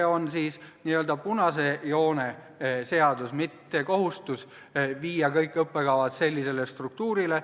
See on siis n-ö punase joone seadus, mitte kohustus viia kõik õppekavad sellisele struktuurile.